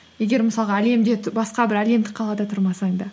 егер мысалға басқа бір әлемдік қалада тұрмасаң да